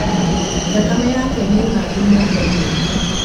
Thakame yake ni ng'andu moko-inĩ.